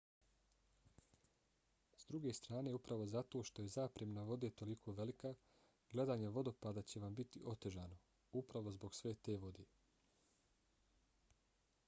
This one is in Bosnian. s druge strane upravo zato što je zapremina vode toliko velika gledanje vodopada će vam biti otežano—upravo zbog sve te vode!